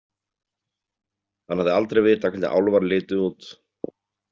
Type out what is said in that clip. Hann hafði aldrei vitað hvernig álfar litu út.